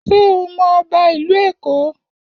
Ṣé o mọ ọba ìlú Èkó?